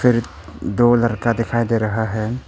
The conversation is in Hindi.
फ़िर दो लड़का दिखाई दे रहा है।